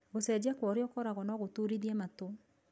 Gũcejia kwa ũrĩa ũkoragwo no gũturithie matũ.